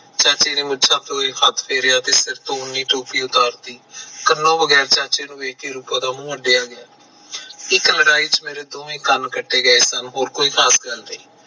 ਚਾਚੇ ਨੇ ਮੁੱਛਾਂ ਤੇ ਹੱਥ ਫੇਰਿਆ ਤੇ ਟੋਪੀ ਉਤਾਰ ਤੀ ਕੰਨਾਂ ਬਗੈਰ ਰੂਪਾਂ ਦਾ ਮੂੰਹ ਅੱਡਿਆ ਗਿਆ ਇੱਕ ਲੜਾਈ ਚ ਮੇਰੇ ਦੋਵੇਂ ਕੰਨ ਕੱਟੇ ਗਏ ਸਨ ਹੋਰ ਕੋਈ ਗੱਲ ਨੀ